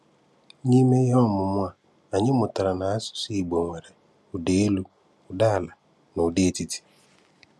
N’ime ihe ọmụ̀mụ̀ a, anyị mụ̀tárà na asụ̀sụ́ Ìgbò nwere ụ́dá élú, ụ́dá àlà, na ụ́dá etìtí.